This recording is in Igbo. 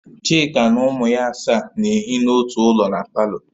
Chika na ụmụ ya asaa na-ehi na ọtụ ụlọ na palọ